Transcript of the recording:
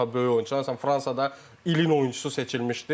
Çox daha böyük oyuncular Fransada ilin oyunçusu seçilmişdi.